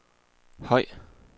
høj